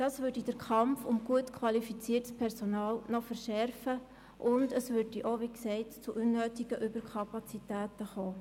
Dies würde den Kampf um gut qualifiziertes Personal noch verschärfen und zu unnötigen Überkapazitäten führen.